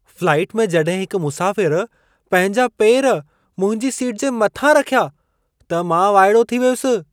Flight में जॾहिं हिकु मुसाफ़िरु पंहिंजा पेर मुंहिंजी सीट जे मथां रखिया, त मां वाइड़ो थी वयुसि।